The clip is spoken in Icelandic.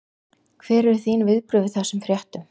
Hver eru þín viðbrögð við þessum fréttum?